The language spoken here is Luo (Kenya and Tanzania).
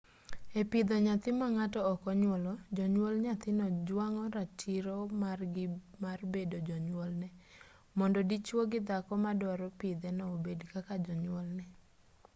e pidho nyathi ma ng'ato ok onyuolo jonyuol nyathino jwang'o ratiro margi mar bedo jonywolne mondo dichwo gi dhako ma dwaro pidheno obed kaka jonywolne